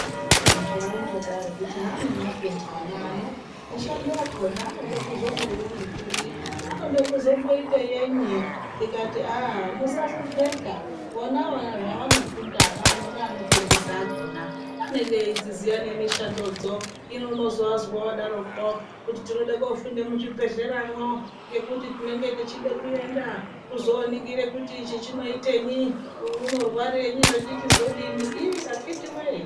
Antu aindo daro kuti zvaanyafunda ana ano mishando yakona anode kuzomboione kuri anode kuzomboite yenyi tikati aa musahlopeka vona zvavanofunda vana ano neanofundisa akona. Anenge eidziziya nemishandodzo hino unozwa vodaroko kuti tinode kofunda muzvibhedhleramwo ngekuti tinenge tichide kuenda kuzoningire kuti ichi chinoitenyi, uyu unorwarenyi zvechichi zodini iii akhiti voye.